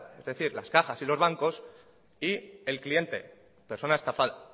es decir las cajas y los bancos y el cliente persona estafada